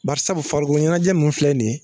Bari sabu farikolo ɲɛnajɛ minnu filɛ nin ye